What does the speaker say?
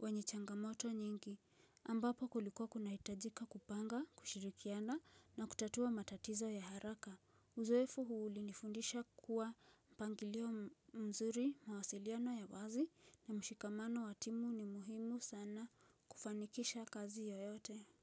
wenye changamoto nyingi ambapo kulikuwa kunahitajika kupanga, kushirikiana na kutatua matatizo ya haraka. Uzoefu huu ulinifundisha kuwa mpangilio mzuri mawasiliano ya wazi na mshikamano wa timu ni muhimu sana kufanikisha kazi yoyote.